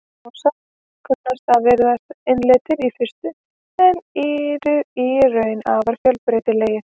Mosar kunna að virðast einsleitir í fyrstu en eru í raun afar fjölbreytilegir.